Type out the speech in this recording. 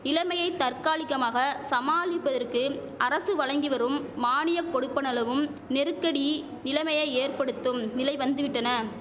இலமையை தற்காலிகமாக சமாளிப்பதற்கு அரசு வழங்கி வரும் மானிய கொடுப்பனளவும் நெருக்கடி நிலமையை ஏற்படுத்தும் நிலை வந்துவிட்டன